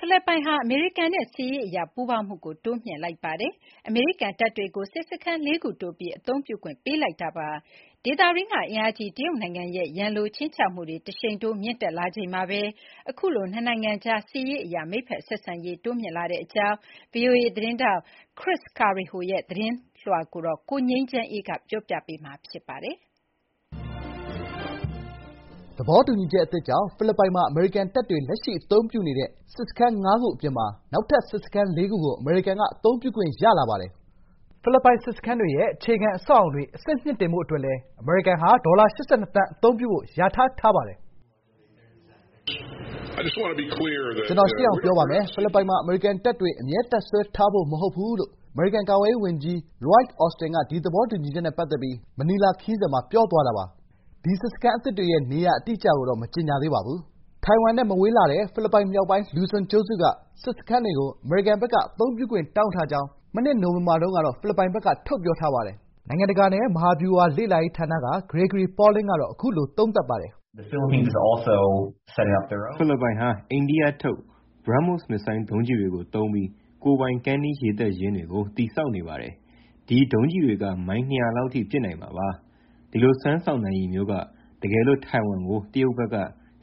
ဖိလစ်ပိုင်ဟာ အမေရိကန်နဲ့ စစ်ရေးအရပူးပေါင်းမှု တိုးမြှင့်လိုက်ပါတယ်။ အမေရိကန်တပ်တွကို စစ်စခန်း ၄ ခု တိုးပြီး အသုံးပြုခွင့်ပေးလိုက်တာပါ။ ဒေသတွင်းက အင်အားကြီးတရုတ်နိုင်ငံရဲ့ ရန်လိုခြိမ်းခြောက်မှုတွေ တရှိန်ထိုးမြင့်တက်လာချိန်မှာပဲ အခုလို နှစ်နိုင်ငံကြား စစ်ရေးအရ မိတ်ဖက်ဆက်ဆံရေးတိုးမြင့်လာတဲ့အကြောင်း ဗီအိုအေ သတင်းထောက် VOA’s Chris Casquejo ရဲ့ သတင်းလွှာကို ကိုငြိမ်းချမ်းအေးက တင်ပြပေးထားပါတယ်။ သဘောတူညီချက်အသစ်ကြောင့် ဖိလစ်ပိုင်မှာ အမေရိကန်တပ်တွေ လက်ရှိအသုံးပြုနေတဲ့စစ်စခန်း ၅ ခု အပြင်မှာ နောက်ထပ် စစ်စခန်း ၄ ခု ကို အမေရိကန်က အသုံးပြုခွင့်ရလာပါတယ်။ “ကျနော် ရှင်းအောင် ပြောပါမယ်။ ဖိလစ်ပိုင်မှာ အမေရိကန်တပ်တွေ အမြဲ တပ်စွဲထားဖို့ မဟုတ်ပါဘူး။” လို့ အမေရိကန် ကာကွယ်ရေးဝန်ကြီး အမေရိကန်ကာကွယ်ရေးဝန်ကြီး လွိုက် အော်စတင်က ဒီသဘောတူချက်နဲ့ပတ်သက်ပြီး မနီလာခရီးစဉ်မှာ ပြောသွားတာပါ။ ဒီစစ်စခန်းအသစ်တွေရဲ့ နေရာအတိအကျကိုတော့ မကြေညာသေးပါဘူး။ ထိုင်ဝမ်နဲ့မဝေးလှတဲ့ ဖိလစ်ပိုင်မြောက်ပိုင်း လူဇွန် (Luzon) ကျွန်းစုက စစ်စခန်းတွေကို အမေရိကန်ဘက်က အသုံးပြုခွင့်တောင်းထားကြောင်း ၂၀၂၂ နှစ် နိုဝင်ဘာတုန်းက ဖိလစ်ပိုင်ဘက်က ထုတ်ပြောထားပါတယ်။ နိုင်ငံတကာနဲ့ မဟာဗျူဟာလေ့လာရေးဌာန Center for Strategic and International Studies က ဂရေဂရီပေါ်လင်းက အခုလို သုံးသပ်ပါတယ်။ "ဖိလစ်ပိုင်ဟာ အိန္ဒိယထုတ် BrahMos (ဘရားမို့စ်) မစ်ဇိုင်းဒုံးကျည်တွေကိုသုံးပြီး ကိုယ်ပိုင် ကမ်းနီးရေတပ်ရင်းတွေကို တည်ဆောက်နေပါတယ်။ ဒီဒုံးကျည်တွေက မိုင် ၂၀၀ လောက်အထိ ပစ်နိုင်မှာပါ။ ဒီလို စွမ်းဆောင်နိုင်ရည်မျိုးက တကယ်လို့ ထိုင်ဝမ်ကို တရုတ်ဘက်က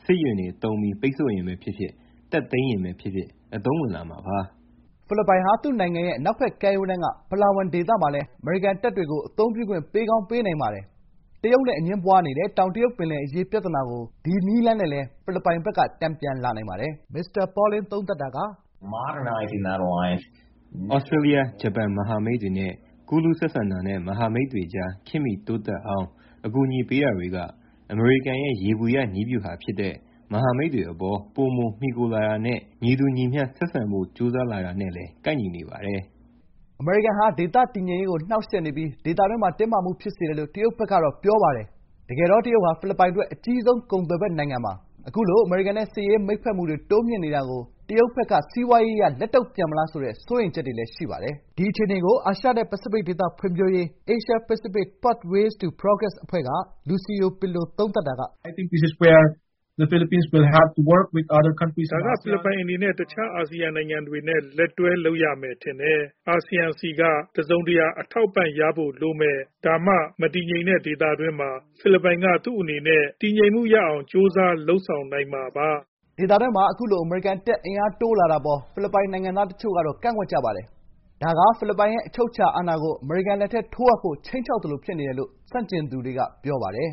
စစ်ယာဉ်တွေသုံးပြီး ပိတ်ဆို့ရင်ပဲဖြစ်ဖြစ်၊ တက်သိမ်းရင်ပဲဖြစ်ဖြစ် အသုံးဝင်လာမှာပါ။" ဖိလစ်ပိုင်ဟာ သူ့နိုင်ငံရဲ့အနောက်ဘက်ကမ်းရိုးတန်းက ပလားဝမ် (Palawan) ဒေသမှာလည်း အမေရိကန်တပ်တွေကို အသုံးပြခွင့် ပေးကောင်း ပေးနိုင်ပါတယ်။ တရုတ်နဲ့အငြင်းပွားနေတဲ့ တောင်တရုတ်ပင်လယ်အရေး ပြဿနာကို ဒီနည်းလမ်းနဲ့လည်း ဖိလစ်ပိုင်ဘက်က တန်ပြန်လာနိုင်ပါတယ်။ “သြစတြေးလျ၊ ဂျပန်မဟာမိတ်တွေနဲ့ ကွန်ရက်ချိန်ဆက် ကူးလူးဆက်ဆံတာနဲ့ မဟာမိတ်တွေကြား ခေတ်မီတိုးတက်အောင် အကူအညီပေးတာတွေက အမေရိကန်ရဲ့ ယေဘုယျနည်းဗျူဟာဖြစ်တဲ့ မဟာမိတ်တွေအပေါ် ပိုမှီခိုလာမှုနဲ့ ညီတူညီမျှ ဆက်ဆံဖို့ ကြိုးစားလာတာနဲ့လည်း ကိုက်ညီနေပါတယ်။” အမေရိကန်ဟာ ဒေသတည်ငြိမ်ရေးကို နှောင့်ယှက်နေပြီး ဒေသတွင်းမှာ တင်းမာမှုတွေဖြစ်စေတယ်လို့ တရုတ်ဘက်ကတော့ ပြောပါတယ်။ တကယ်တော့ တရုတ်ဟာ ဖိလစ်ပိုင်အတွက် အကြီးဆုံးကုန်သွယ်ဖက်နိုင်ငံပါ။ အခုလို အမေရိကန်နဲ့ စစ်ရေးမိတ်ဖက်မှုတွေ တိုးမြှင့်နေတာကို တရုတ်ဘက်က စီးပွားရေးအရ လက်တုံ့ပြန်မလားဆိုတဲ့ စိုးရိမ်ချက်တွေလည်း ရှိပါတယ်။ ဒီအခြေအနေကို အာရှနဲ့ပစိဖိတ်ဒေသဖွံ့ဖြိုးရေး (Asia Pacific Pathways to Progress ) အဖွဲ့က လူစီယိုပစ်လိုက အခုလို သုံးသပ်ပါတယ်။ “ဒါက ဖိလစ်ပိုင်အနေနဲ့ တခြား အာဆီယံနိုင်ငံတွေနဲ့ လက်တွဲလုပ်ရမယ် ထင်တယ်။ အာဆီယံဆီက တစုံတရာ အထောက်အပံ့ရဖို့ လိုမယ်။ ဒါမှ မတည်ငြိမ်တဲ့ဒေသတွင်းမှာ ဖိလစ်ပိုင်က သူ့အနေနဲ့တည်ငြိမ်မှုရအောင် ကြိုးစားလုပ်ဆောင်နိုင်မှာပါ။” ဒေသတွင်းမှာ အခုလို အမေရိကန်တပ် အင်အားတိုးလာတာအပေါ် ဖိလစ်ပိုင်နိုင်ငံသားတချို့ကတော့ ကန့်ကွက်ကြပါတယ်။ ဒါက ဖိလစ်ပိုင်ရဲ့အချုပ်အခြာအာဏာကို အမေရိကန်လက်ထဲ ထိုးအပ်ဖို့ ခြိမ်းခြောက်သလို ဖြစ်နေတယ်လို့ ဆန့်ကျင်သူတွေက ပြောပါတယ်